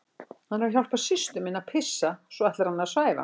Hann er að hjálpa systur minni að pissa og svo ætlar hann að svæfa hana